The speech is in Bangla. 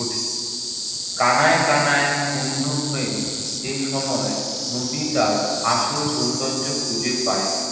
ওঠে। কানায় কানায় পূর্ণ হয়ে এ সময়ে নদী তার আসল সৌন্দর্য খুঁজে পায়।